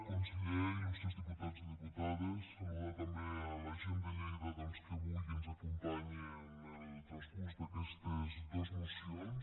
conseller ili diputades saludar també la gent de lleida doncs que avui ens acompanya en el transcurs d’aquestes dos mocions